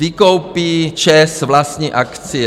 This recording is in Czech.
Vykoupí ČEZ vlastní akcie.